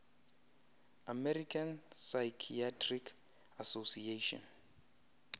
american psychiatric association